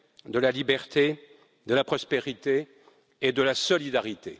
de la liberté, de la prospérité et de la solidarité.